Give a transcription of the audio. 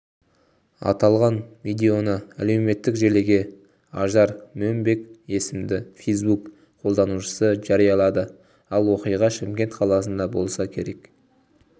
аталған видеоны әлеуметтік желіге ажар момбек есімді фейсбук қолданушысы жариялады ал оқиға шымкент қаласында болса керек